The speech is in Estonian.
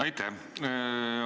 Aitäh!